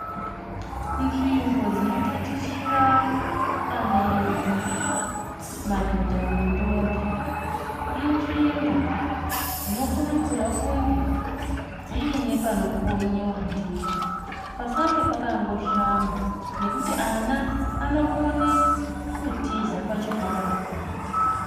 Nzvimbo dzinotatichira ana edu madhodha nentombi inzvimbo dzinokurudzirwa kunge dzine panokonyewa ndipo pasange pakangoshama nokuti ana anokone kutiza pachikorapo.